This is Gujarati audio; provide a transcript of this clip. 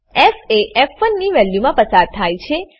ફ એ ફ1 ની વેલ્યુમાં પસાર થાય છે